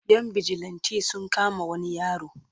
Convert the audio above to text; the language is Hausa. Yan bijilanti sun kama wani yaro.